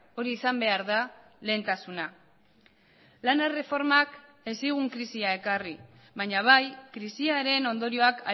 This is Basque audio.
hori izan behar da lehentasuna lan erreformak ez zigun krisia ekarri baina bai krisiaren ondorioak